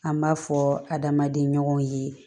An b'a fɔ adamaden ɲɔgɔn ye